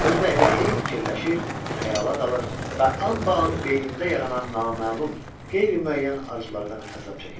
Özü də elə hey fikirləşir, xayala dalır və anbaan beynimdə yaranan naməlum, qeyri-müəyyən arzudan əzab çəkirdim.